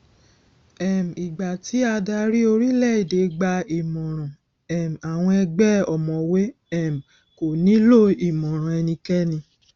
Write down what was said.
um ìgbà tí adarí orílẹèdè gbà ìmọràn um àwọn ègbé ọmọwé um kò ní lọ ìmọràn ẹnikẹni